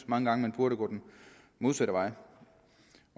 mange gange burde gå den modsatte vej